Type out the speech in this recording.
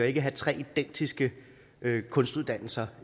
ikke have tre identiske kunstuddannelser